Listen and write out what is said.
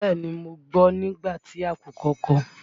Bẹ́ẹ̀ni, mo gbọ́ nígbà tí àkùkọ kọ.